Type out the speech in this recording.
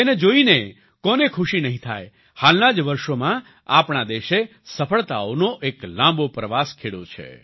તેને જોઈને કોને ખુશી નહીં થાય હાલના જ વર્ષોમાં આપણા દેશે સફળતાઓનો એક લાંબો પ્રવાસ ખેડ્યો છે